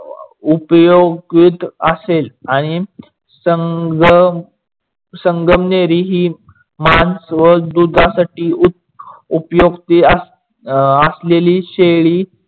उपयोगीत असेल आणि संगमणेरी ही मांस व दुधासाठी उपयोक्ति अं असलेली शेळी